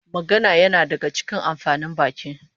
Magana yana daga cikin amfanin baki